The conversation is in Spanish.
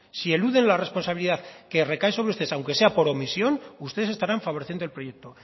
si eluden la responsabilidad que recae sobre ustedes aunque sea por omisión ustedes estarán favoreciendo el proyecto